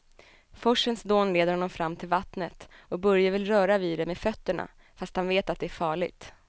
Forsens dån leder honom fram till vattnet och Börje vill röra vid det med fötterna, fast han vet att det är farligt.